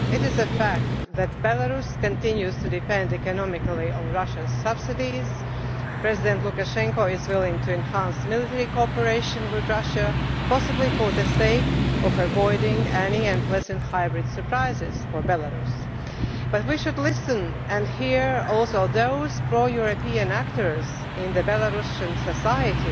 It is a fact that Belarus continues to depend economically on Russia's subsidies, President Lukashenko is willing to enhance military cooperation with Russia, possibly for the sake of avoiding any unpleasant hybrid surprises for Belarus. But we should also listen to those pro European actors in Belarusian society